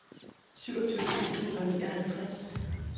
syvogtyve tusind og nioghalvtreds